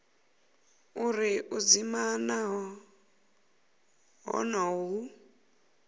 uri u dzima honoho hu